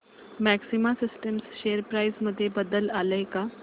maxima systems share price मध्ये बदल आलाय का